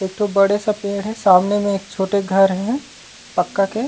एक ठो बड़े-सा पेड़ हे सामने में एक छोटे घर हे पक्का के--